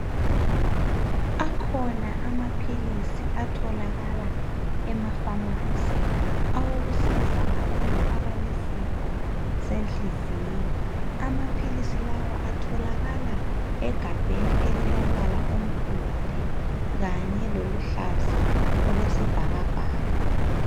Akhona amaphilisi atholakala emapharmacy awokusiza abantu abalesifo senhliziyo. Amaphilisi lawa atholakala egabheni elilombala omhlophe kanye loluhlaza okwesibhakabhaka.